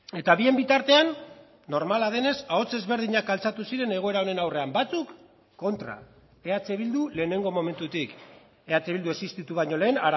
eta bien bitartean normala denez ahots ezberdinak altxatu ziren egoera honen aurrean batzuk kontra eh bildu lehenengo momentutik eh bildu existitu baino lehen